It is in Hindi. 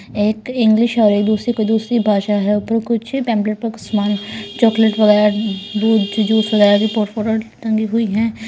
एक इंग्लिश और एक दूसरी कोई दूसरी भाषा है ऊपर कुछ पेंप्लेट पे कुछ समान चॉकलेट वगैरह दूध जूस वगैरह की फो फोटो टंगी हुई हैं .